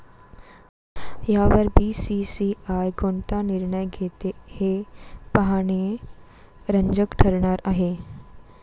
यावर बीसीसीआय कोणता निर्णय घेते हे पाहणे रंजक ठरणार आहे.